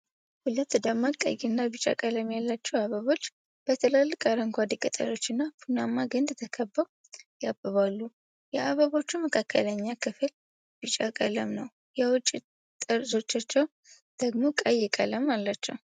ሁለት ደማቅ ቀይና ቢጫ ቀለም ያላቸው አበቦች በትላልቅ አረንጓዴ ቅጠሎችና ቡናማ ግንድ ተከበው ያብባሉ። የአበቦቹ መካከለኛ ክፍል ቢጫ ቀለም ነው፣ የውጭ ጠርዞቻቸው ደግሞ ቀይ ቀለም አላቸው።